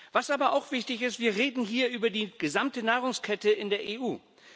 Was aber auch wichtig ist Wir reden hier über die gesamte Nahrungsmittelkette in der EU.